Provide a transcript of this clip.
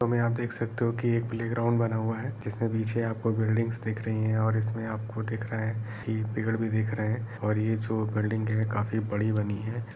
इस फोटो मे आप देख सकते हो की प्लेग्राउन्ड बना हुआ है। इसमे पीछे आप को बिल्डिंगस दिख रही है और इसमे दिख रहा है की पेड़ भी दिख रहे है और ये जो बिल्डिंग है काफी बड़ी बनी है।